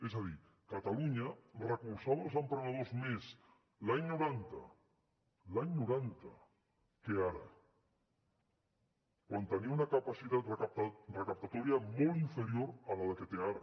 és a dir catalunya recolzava els emprenedors més l’any noranta l’any noranta que ara quan tenia una capacitat recaptatòria molt inferior a la que té ara